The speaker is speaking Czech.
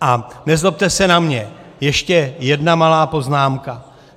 A nezlobte se na mě, ještě jedna malá poznámka.